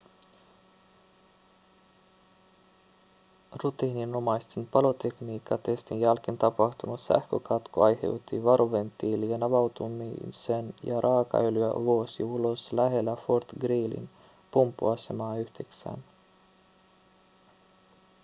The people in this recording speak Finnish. rutiininomaisen palotekniikkatestin jälkeen tapahtunut sähkökatko aiheutti varoventtiilien avautumisen ja raakaöljyä vuosi ulos lähellä fort greelyn pumppuasemaa 9